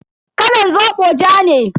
Kalan zobo ja ne.